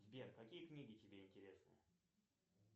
сбер какие книги тебе интересны